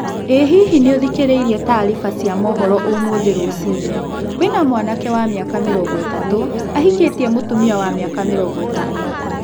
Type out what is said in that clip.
Ĩ hihi nĩ ũthikĩrĩirie taariba cia mũhooro ũmũthĩ rũcinĩ? Kũĩna mwanake wa mĩaka mĩrongo ĩtatũ ahikĩtie mũtumia wa mĩaka mĩrongo ĩtano.